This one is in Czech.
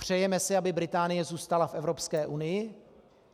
Přejeme si, aby Británie zůstala v Evropské unii?